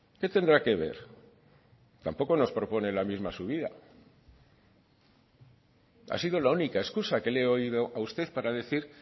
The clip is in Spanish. qué tendrá que ver tampoco nos propone la misma subida ha sido la única excusa que le he oído a usted para decir